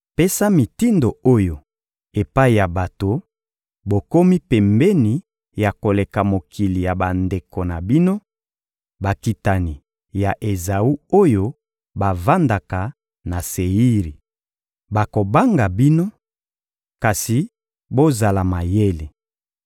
Pesa mitindo oyo epai ya bato: ‹Bokomi pembeni ya koleka mokili ya bandeko na bino, bakitani ya Ezawu oyo bavandaka na Seiri. Bakobanga bino, kasi bozala mayele.